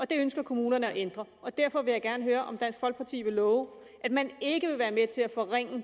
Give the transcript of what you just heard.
det ønsker kommunerne at ændre så derfor vil jeg gerne høre om dansk folkeparti vil love at man ikke vil være med til at forringe